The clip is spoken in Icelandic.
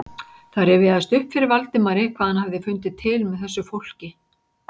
Það rifjaðist upp fyrir Valdimari hvað hann hafði fundið til með þessu fólki.